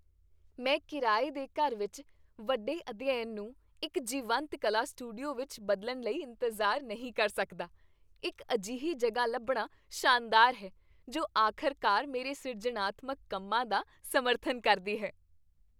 ਮੈਂ ਕਿਰਾਏ ਦੇ ਘਰ ਵਿੱਚ ਵੱਡੇ ਅਧਿਐਨ ਨੂੰ ਇੱਕ ਜੀਵੰਤ ਕਲਾ ਸਟੂਡੀਓ ਵਿੱਚ ਬਦਲਣ ਲਈ ਇੰਤਜ਼ਾਰ ਨਹੀਂ ਕਰ ਸਕਦਾ। ਇੱਕ ਅਜਿਹੀ ਜਗ੍ਹਾ ਲੱਭਣਾ ਸ਼ਾਨਦਾਰ ਹੈ ਜੋ ਆਖ਼ਰਕਾਰ ਮੇਰੇ ਸਿਰਜਣਾਤਮਕ ਕੰਮਾਂ ਦਾ ਸਮਰਥਨ ਕਰਦੀ ਹੈ।